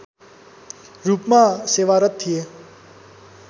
रूपमा सेवारत थिए